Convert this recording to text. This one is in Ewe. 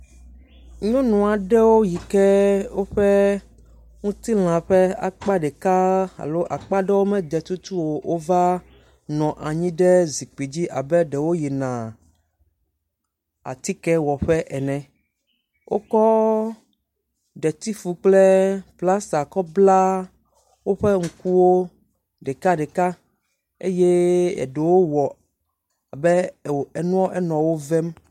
Nyɔnu ɖewo yike wo me de alo woƒe ŋutilã ƒe akpa ɖe me de tutu o la nɔ anyi ɖe zikpui dzi abe ɖewo yina atike wɔ ƒe ene. Wokɔ ɖetifu kple plasta wokɔ bla ŋkuwo ɖeka ɖeka eye eɖewo wɔ abe enɔa enɔ wo vɛm.